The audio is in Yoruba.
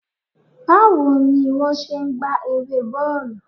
Bawo ni won se n gba ere bọọlu?